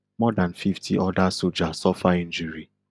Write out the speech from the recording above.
more than fifty other soja suffer injury